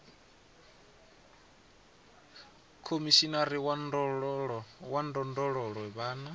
khomishinari wa ndondolo ya vhana